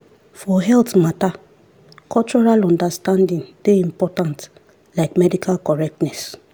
for health matter cultural understanding dey important like medical correctness.